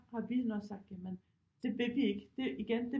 Har vi nok sagt jamen det vil vi ikke det igen det